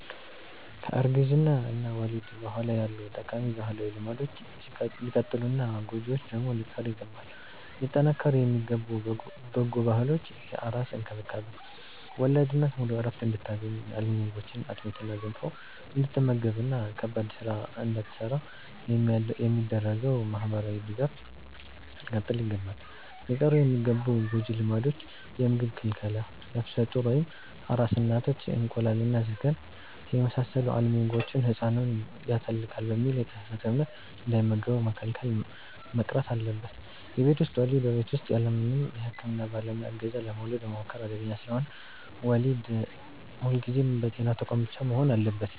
ከእርግዝና እና ወሊድ በኋላ ያሉ ጠቃሚ ባህላዊ ልማዶች ሊቀጥሉና ጎጂዎቹ ደግሞ ሊቀሩ ይገባል። ሊጠናከሩ የሚገቡ በጎ ባህሎች፦ የአራስ እንክብካቤ፦ ወላድ እናት ሙሉ ዕረፍት እንድታገኝ፣ አልሚ ምግቦችን (አጥሚትና ገንፎ) እንድትመገብና ከባድ ሥራ እንዳትሠራ የሚደረገው ማኅበራዊ ድጋፍ ሊቀጥል ይገባል። ሊቀሩ የሚገቡ ጎጂ ልማዶች፦ የምግብ ክልከላ፦ ነፍሰ ጡር ወይም አራስ እናቶች እንቁላልና ሥጋን የመሳሰሉ አልሚ ምግቦችን «ሕፃኑን ያተልቃል» በሚል የተሳሳተ እምነት እንዳይመገቡ መከልከል መቅረት አለበት። የቤት ውስጥ ወሊድ፦ በቤት ውስጥ ያለምንም የሕክምና ባለሙያ ዕገዛ ለመውለድ መሞከር አደገኛ ስለሆነ፣ ወሊድ ሁልጊዜም በጤና ተቋማት ብቻ መሆን አለበት።